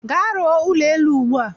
Gaa rụọ ụlọ elu ugbua!